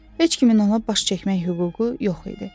Heç kimin ona baş çəkmək hüququ yox idi.